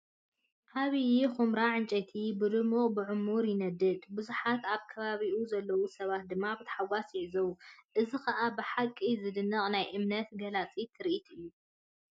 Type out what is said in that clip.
ዓብይ ኵምራ ዕንጨይቲ ብድሙቕን ብዕሙር ይነድድ፣ ብዙሓት ኣብ ከባቢኡ ዘለዉ ሰባት ድማ ብታሕጓስ ይዕዘቡ፣ እዚ ኸኣ ብሓቂ ዜደንቕ ናይ እምነት ገላፂ ትርኢት እዩ!